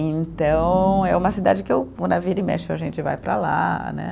Então, é uma cidade que eu vira e mexe e a gente vai para lá né.